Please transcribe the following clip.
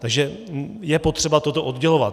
Takže je potřeba toto oddělovat.